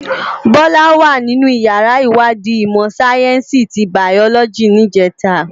Bola wá ninú iyàrá iwàdí imò sáyènsí ti báyòlòjí nijètá